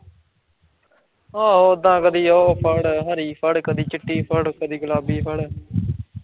ਆ ਉੱਦਾਂ ਕਦੀ ਓ ਫੜ, ਹਰਿ ਫੜ ਕਦੀ ਚਿੱਟੀ ਫੜ, ਕਦੀ ਗੁਲਾਬੀ ਫੜ